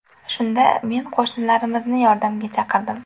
Shunda men qo‘shnilarimizni yordamga chaqirdim.